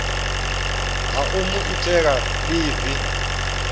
ha u mu nea ḽivi